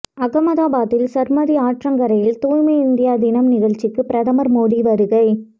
அகமதாபாத்தில் சபர்மதி ஆற்றங்கரையில் தூய்மை இந்தியா தினம் நிகழ்ச்சிக்கு பிரதமர் மோடி வருகை